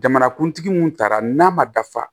Jamanakuntigi mun taara n'a ma dafa